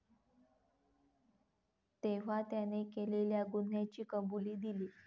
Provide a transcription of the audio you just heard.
तेव्हा त्याने केलेल्या गुन्ह्याची कबुली दिली.